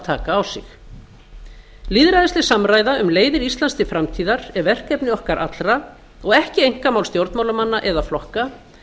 taka á sig lýðræðisleg samræða um leiðir íslands til framtíðar er verkefni okkar allra og ekki einkamál stjórnmálamanna eða flokka